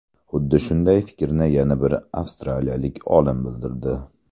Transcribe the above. Xuddi shunday fikrni yana bir avstraliyalik olim bildirdi.